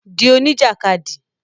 Di oní jàkadì